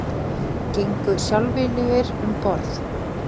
Gengu sjálfviljugir um borð